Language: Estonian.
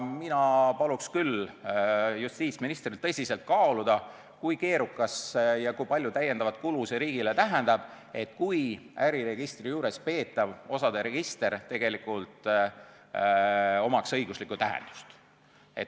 Mina paluksin küll justiitsministril tõsiselt kaaluda, kui keerukas see on ja kui palju täiendavat kulu see riigile tähendab, kui äriregistri juures peetaval osade registril tegelikult oleks õiguslik tähendus.